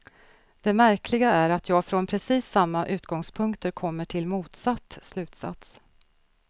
Det märkliga är att jag från precis samma utgångspunkter kommer till motsatt slutsats.